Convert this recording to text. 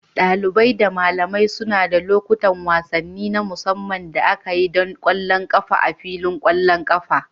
Dalibin da malamai suna da lokacin wasanni na musamman da aka yi don ƙwallon ƙafa a filin ƙwallon ƙafa.